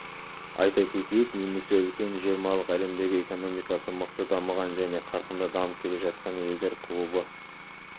айта кетейік немесе үлкен жиырмалық әлемдегі экономикасы мықты дамыған және қарқынды дамып келе жатқан елдер клубы